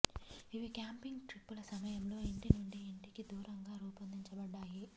ఇవి క్యాంపింగ్ ట్రిప్పుల సమయంలో ఇంటి నుండి ఇంటికి దూరంగా రూపొందించబడ్డాయి